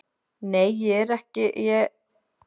Nei, ég er svo vön því.